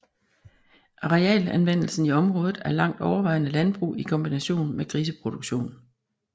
Arealanvendelsen i området er langt overvejende landbrug i kombination med griseproduktion